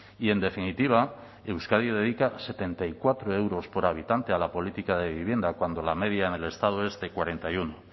y en definitiva euskadi dedica setenta y cuatro euros por habitante a la política de vivienda cuando la media en el estado es de cuarenta y uno